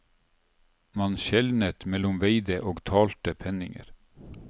Man skjelnet mellom veide og talte penninger.